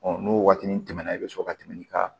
n'o waati tɛmɛna i bɛ sɔrɔ ka tɛmɛ i ka